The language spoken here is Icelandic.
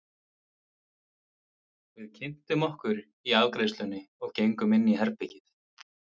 Við kynntum okkur í afgreiðslunni og gengum inn í herbergið.